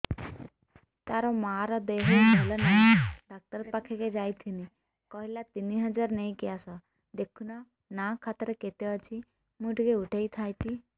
ତାର ମାର ଦେହେ ଭଲ ନାଇଁ ଡାକ୍ତର ପଖକେ ଯାଈଥିନି କହିଲା ତିନ ହଜାର ନେଇକି ଆସ ଦେଖୁନ ନା ଖାତାରେ କେତେ ଅଛି ମୁଇଁ ଟିକେ ଉଠେଇ ଥାଇତି